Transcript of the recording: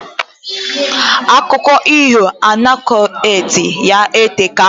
Akụko iho anecdotes ya eteka